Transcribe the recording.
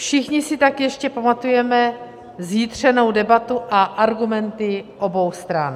Všichni si tak ještě pamatujeme zjitřenou debatu a argumenty obou stran.